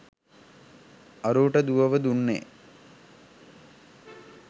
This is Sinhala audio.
අරූට දුවව දුන්නේ